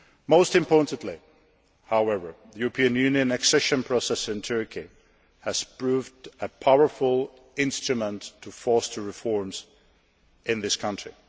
countries. Most importantly, however, the European Union accession process with Turkey has proved a powerful instrument to force reforms in this